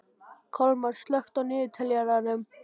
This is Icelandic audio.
Kolmar, slökktu á niðurteljaranum.